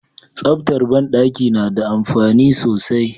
Tsaftar banɗaki nada amfani sosai